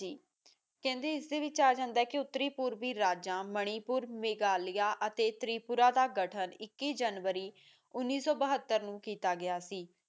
ਕਹਿੰਦੇ ਇਸ ਵਿਚ ਆ ਜਾਂਦਾ ਉਤਰੀ ਪੂਰਵੀ ਰਾਜਾ ਮਨੀ ਪੂਰ ਮਿਗਲੀਆਂ ਅਤੇ ਤ੍ਰਿਪੁਰਾ ਦਾ ਗਠਨ ਇੱਕੀ ਜਨਵਰੀ ਉਨੀ ਸੋ ਬੱਹਤਰ ਨੂੰ ਕੀਤਾ ਗਇਆ ਸੀ